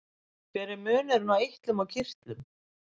Hver er munurinn á eitlum og kirtlum?